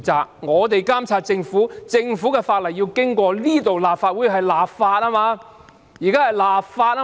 議員負責監察政府；政府法案要經立法會通過才完成立法。